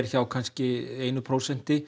hjá kannski einu prósenti